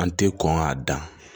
An tɛ kɔn k'a dan